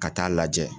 Ka taa lajɛ